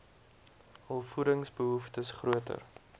hul voedingsbehoeftes groter